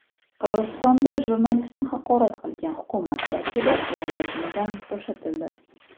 Qirg‘izistonda jurnalistni haqorat qilgan hukumat vakili lavozimidan bo‘shatildi.